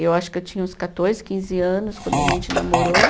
Eu acho que eu tinha uns quatorze, quinze anos quando a gente namorou.